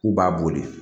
K'u b'a boli